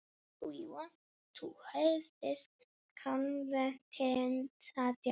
Við viljum eiga þetta samtal.